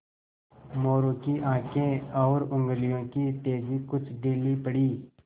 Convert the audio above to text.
मोरू की आँखें और उंगलियों की तेज़ी कुछ ढीली पड़ी